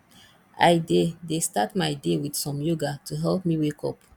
i dey dey start my day with some yoga to help me wake up